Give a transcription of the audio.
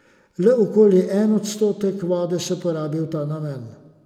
Le okoli en odstotek vode se porabi v ta namen.